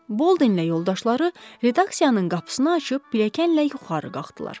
Boldenlə yoldaşları redaksiyanın qapısını açıb pilləkənlə yuxarı qalxdılar.